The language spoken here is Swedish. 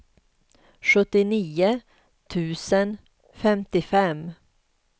sjuttionio tusen femtiofem